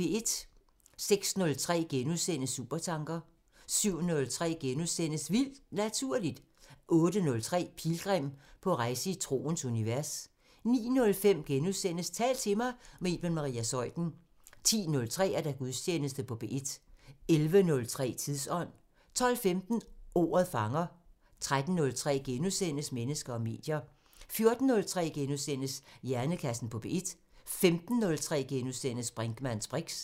06:03: Supertanker * 07:03: Vildt Naturligt * 08:03: Pilgrim – på rejse i troens univers 09:05: Tal til mig – med Iben Maria Zeuthen * 10:03: Gudstjeneste på P1 11:03: Tidsånd 12:15: Ordet fanger 13:03: Mennesker og medier * 14:03: Hjernekassen på P1 * 15:03: Brinkmanns briks *